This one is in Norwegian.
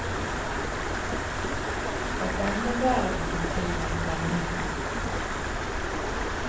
Fra denne verden til den kommende.